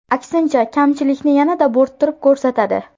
Aksincha, kamchilikni yanada bo‘rttirib ko‘rsatadi.